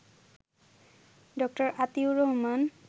ড. আতিউর রহমান